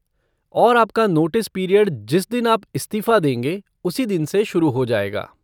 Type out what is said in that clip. और आपका notice period जिस दिन आप इस्तीफ़ा देंगे उसी दिन से शुरू हो जाएगा।